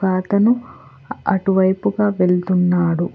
ఒక అతను అటు వైపుగా వెళ్తున్నాడు.